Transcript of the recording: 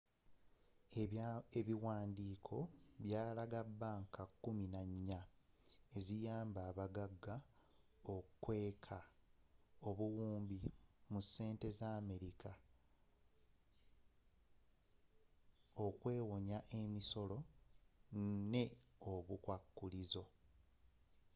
ebiwandiiko byalaga banka kkumi nannya eziyamba abaggaga okukweka obuwumbi mu sente za america okwewonya emisolo ne obukwakulizo